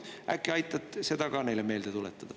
Äkki aitad seda ka neile meelde tuletada.